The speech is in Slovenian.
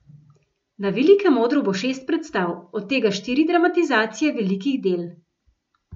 Na velikem odru bo šest predstav, od tega štiri dramatizacije velikih del.